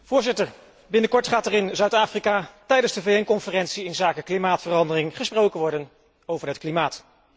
Voorzitter, binnenkort gaat er in Zuid Afrika tijdens de VN conferentie inzake klimaatverandering gesproken worden over het klimaat.